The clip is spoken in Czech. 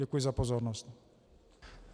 Děkuji za pozornost.